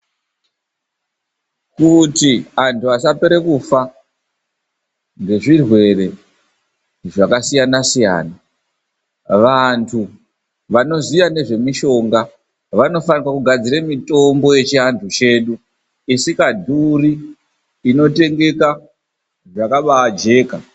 Kuti anthu asakase kufa, ngezvirwere zvakasiyabasiyana, vanthu vanoziye ngezvemishonga vanofanirwe kugadzire mitombo yechianthu chedu isikadhuri, inotengeka, yakabaajeka.